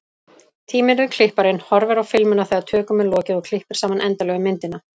Tíminn er klipparinn, horfir á filmuna þegar tökum er lokið og klippir saman endanlegu myndina.